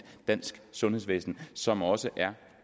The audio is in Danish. dansk sundhedsvæsen som også er